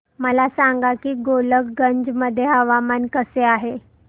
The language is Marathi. मला सांगा की गोलकगंज मध्ये हवामान कसे आहे